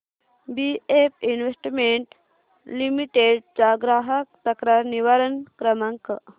BF investment limited चा ग्राहक तक्रार निवारण क्रमांक